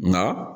Nka